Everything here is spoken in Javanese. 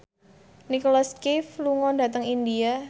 Nicholas Cafe lunga dhateng India